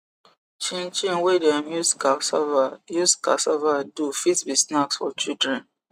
chin chin wey dem use casava use casava do fit be snacks for children